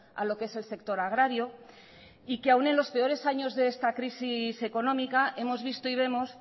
a lo que es el sector agrario y que aún en los peores años de esta crisis económica hemos visto y vemos